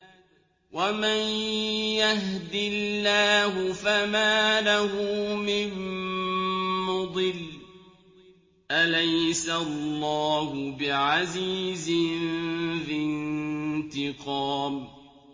وَمَن يَهْدِ اللَّهُ فَمَا لَهُ مِن مُّضِلٍّ ۗ أَلَيْسَ اللَّهُ بِعَزِيزٍ ذِي انتِقَامٍ